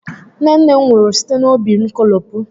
Nne nne m nwụrụ site n'óbí nkolopu